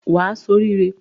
Wà á ṣoríre.